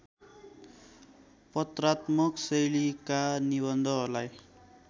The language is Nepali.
पत्रात्मक शैलीका निबन्धलाई